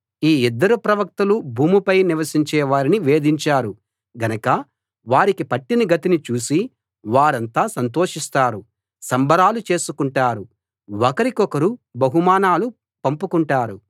ఈ ఇద్దరు ప్రవక్తలు భూమిపై నివసించే వారిని వేధించారు గనక వారికి పట్టిన గతిని చూసి వారంతా సంతోషిస్తారు సంబరాలు చేసుకుంటారు ఒకరికొకరు బహుమానాలు పంపుకుంటారు